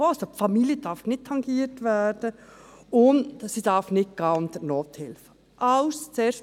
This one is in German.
Die Familie darf nicht tangiert werden, und die Kürzung darf nicht unter die Nothilfe gehen.